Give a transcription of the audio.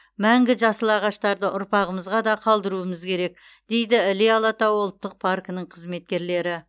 мәңгі жасыл ағаштарды ұрпағымызға да қалдыруымыз керек дейді іле алатауы ұлттық паркінің қызметкерлері